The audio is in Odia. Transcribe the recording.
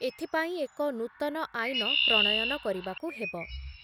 ଏଥିପାଇଁ ଏକ ନୂତନ ଆଇନ ପ୍ରଣୟନ କରିବାକୁ ହେବ ।